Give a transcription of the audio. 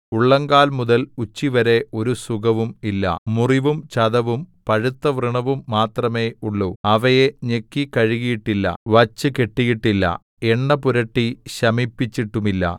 ഉള്ളങ്കാല്‍ മുതൽ ഉച്ചിവരെ ഒരു സുഖവും ഇല്ല മുറിവും ചതവും പഴുത്തവ്രണവും മാത്രമേ ഉള്ളൂ അവയെ ഞെക്കി കഴുകിയിട്ടില്ല വച്ചുകെട്ടിയിട്ടില്ല എണ്ണപുരട്ടി ശമിപ്പിച്ചിട്ടുമില്ല